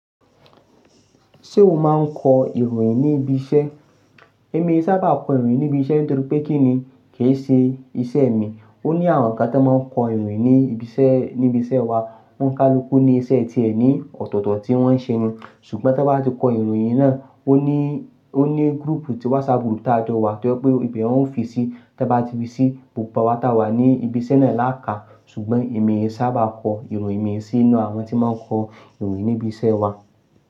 Ṣé o máa ń kọ ìròyìn ní ibi iṣẹ́? Èmi sábà kọ ìròyìn ní ibi iṣẹ́ nítorí pé kí ni kì í ṣe iṣẹ́ mi. Ó ní àwọn kan tí wọ́n máa ń kọ ìròyìn ní ibi iṣẹ́, ní ibi iṣẹ́ wa. O n kálukú ní iṣẹ́ ti ẹ̀ ní ọ̀tọ̀ọ̀tọ̀ tí wọ́n ń ṣe ni. Ṣùgbọ́n tí wọ́n bá ti kọ ìròyìn náà, ó ní, ó ní group ti WhatsApp group tí a jọ wa tí o je pe wọn ó fi sí. Tí wọ́n bá ti fi sí, gbogbo wa tá wà ní ibi iṣẹ́ náà lákà. Ṣùgbọ́n èmi sábà kọ ìròyìn mi sínú àwọn tí máa ń kọ ìròyìn ní ibi iṣẹ́ wa.